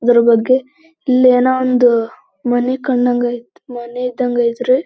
ಅದರ ಬಗ್ಗೆ ಇಲ್ಲಿ ಏನೋ ಒಂದು ಮನಿ ಕಂಡಂಗ್ ಆಯ್ತ್ ಮನಿ ಇದ್ದಂಗ್ ಅಯ್ತ್ರಿ-